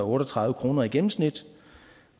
og tredive kroner i gennemsnit